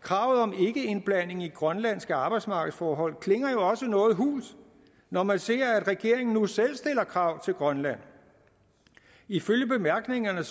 kravet om ikkeindblanding i grønlandske arbejdsmarkedsforhold klinger jo også noget hult når man ser at regeringen nu selv stiller krav til grønland ifølge bemærkningerne